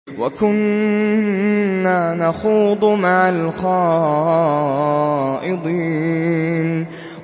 وَكُنَّا نَخُوضُ مَعَ الْخَائِضِينَ